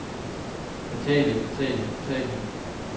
fatale fatale fatale